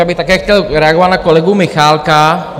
Já bych také chtěl reagoval na kolegu Michálka.